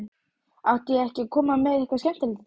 Átti ég ekki að koma með eitthvað skemmtilegt í dag?